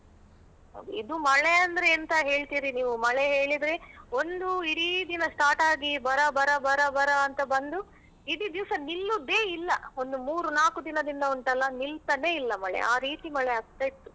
ಇದು ಮಳೆ ಅಂದ್ರೆ ಎಂತ ಹೇಳ್ತೀರಿ ನೀವು ಮಳೆ ಹೇಳಿದ್ರೆ ಒಂದು ಇಡೀ ದಿನ start ಆಗಿ ಬರ ಬರ ಬರ ಬರ ಅಂತ ಬಂದು ಇಡಿ ದಿವ್ಸ ನಿಲ್ಲುದೆ ಇಲ್ಲ ಒಂದು ಮೂರು ನಾಕು ದಿನಂದಿಂದ ಉಂಟಲ್ಲ ನಿಲ್ತಾನೆ ಇಲ್ಲ ಮಳೆ ಆರೀತಿ ಮಳೆ ಆಗ್ತಾ ಇತ್ತು.